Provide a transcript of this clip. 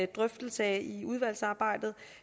drøftelse af i udvalgsarbejdet